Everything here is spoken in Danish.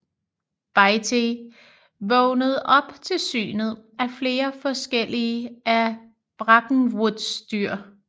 Bitey vågnede op til synet af flere forskellige af Brackenwoods dyr